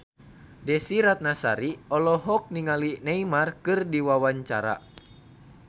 Desy Ratnasari olohok ningali Neymar keur diwawancara